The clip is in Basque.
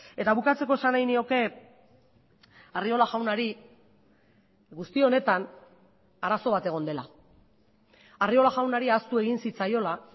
eta bukatzeko esan nahi nioke arriola jaunari guzti honetan arazo bat egon dela arriola jaunari ahaztu egin zitzaiola